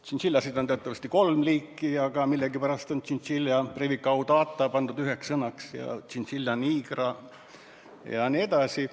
Tšintšiljasid on teatavasti kolme liiki, aga millegipärast on Chinchillabrevicaudata ja Chinchillalanigera pandud üheks sõnaks.